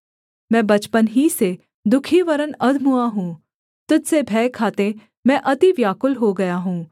मैं बचपन ही से दुःखी वरन् अधमुआ हूँ तुझ से भय खाते मैं अति व्याकुल हो गया हूँ